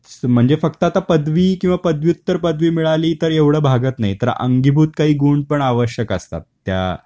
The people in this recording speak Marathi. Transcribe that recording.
म्हणजे फक्त आता पदवी किंवा पदव्युत्तर पदवी मिळाली तर एवढ भागत नाही तर अंगीभूत काही गुण पण आवश्यक असतात त्या